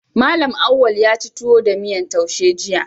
Mallam Auwal yaci tuwo da miyan taushe jiya